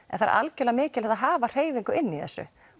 en það er algjörlega mikilvægt að hafa hreyfingu inn í þessu